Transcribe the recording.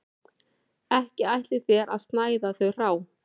Ekki ætlið þér að snæða þau hrá